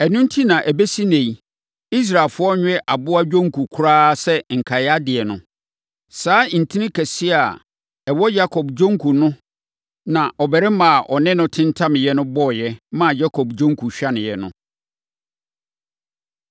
Ɛno enti na ɛbɛsi ɛnnɛ yi, Israelfoɔ nwe aboa dwonku koraa sɛ nkaedeɛ no. Saa ntini kɛseɛ a ɛwɔ Yakob dwonku no na ɔbarima a ɔne no tentameeɛ no bɔeɛ, maa Yakob dwonku hwaneeɛ no.